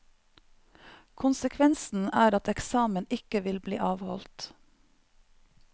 Konsekvensen er at eksamen ikke vil bli avholdt.